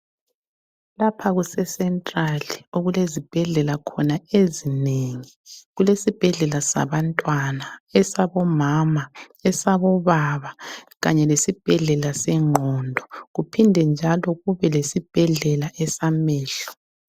Lapha kuse central okulezibhedlela khona ezinengi. Kulesibhedlela sabantwana, esabomama, esabobaba kanye lesibhedlela sengqondo. Kuphinde njalo kube lesibhedlela esamehlo.